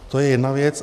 To je jedna věc.